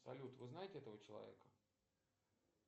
салют вы знаете этого человека